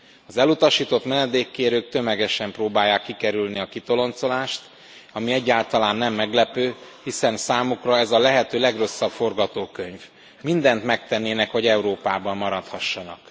Az elutasított menedékkérők tömegesen próbálják kikerülni a kitoloncolást, ami egyáltalán nem meglepő, hiszen számukra ez a lehető legrosszabb forgatókönyv mindent megtennének, hogy Európában maradhassanak.